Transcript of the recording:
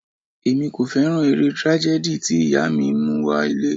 Èmi kò fẹ́ràn eré tragedy tí ìyá mi mú wá ilé.